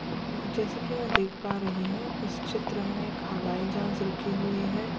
हम् जैसे कि मैं देख पा रही हूं इस चित्र में एक हवाई जांच रुकी हुई है।